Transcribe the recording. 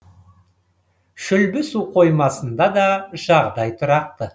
шүлбі су қоймасында да жағдай тұрақты